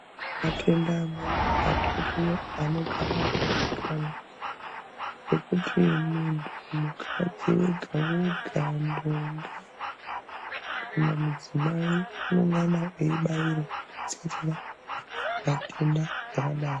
Matenda amweni atoriyo, anogara akazikanwa ekuti munhu, mukadzi wega wega, kana ndombi unofanirwe kunge eibairwa kudziirire matenda akadaro.